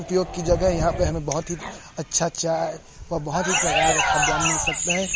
उपयोग की जगह है यहाँ पे हमें बोहोत ही अच्छा चाय व बोहोत ही प्रकार का खाद्यान्न मिल सकता हैं।